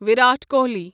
Virat Kohli